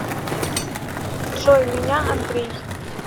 джой меня андрей